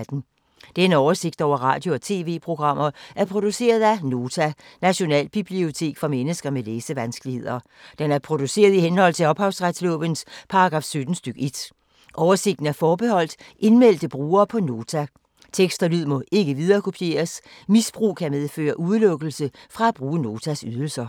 Denne oversigt over radio og TV-programmer er produceret af Nota, Nationalbibliotek for mennesker med læsevanskeligheder. Den er produceret i henhold til ophavsretslovens paragraf 17 stk. 1. Oversigten er forbeholdt indmeldte brugere på Nota. Tekst og lyd må ikke viderekopieres. Misbrug kan medføre udelukkelse fra at bruge Notas ydelser.